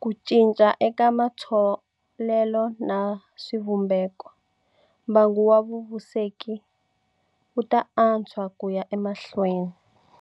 ku cinca eka matholelo na swivumbeko - mbangu wa vuveseki wu ta antswa ku ya emahlweni.